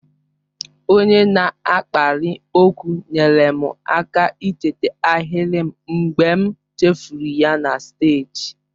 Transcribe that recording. Onye na-akpali okwu nyeere m aka icheta ahịrị m mgbe m chefuru ya na steeji.